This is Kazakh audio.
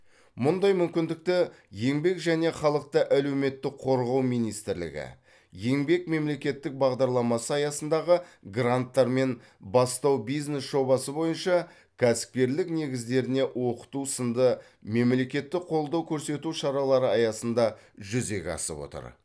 мұндай мүмкіндікті еңбек және халықты әлеуметтік қорғау министрлігі еңбек мемлекеттік бағдарламасы аясындағы гранттар мен бастау бизнес жобасы бойынша кәсіпкерлік негіздеріне оқыту сынды меклекеттік қолдау көрсету шаралары аясында жүзеге асып отыр